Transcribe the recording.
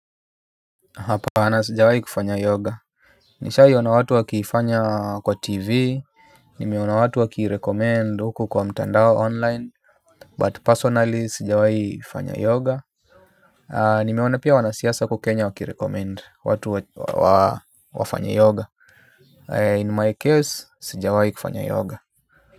Hapana sijawai kufanya yoga. Nishai ona watu wakiifanya kwa tv. Nimeona watu wakirecommend huku kwa mtandao online But personally sijawai fanya yoga. Nimeona pia wanasiasa huku kenya wakirecommend watu wafanye yoga In my case sijawai kufanya yoga.